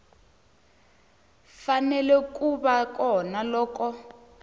fanele ku va kona loko